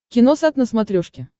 киносат на смотрешке